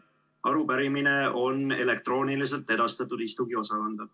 Arupärimine on elektrooniliselt edastatud istungiosakonda.